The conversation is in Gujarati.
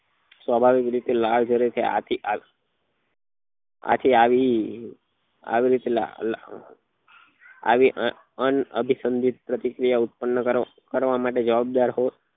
સ્વાભાવિક રીતે લાલ જરે તે આથી કે આથી આથી આવી લ લ આવી અનાભીસંદેક પ્રતિક્રિયા ઉત્પન્ન કરવા જવાબદાર કોણ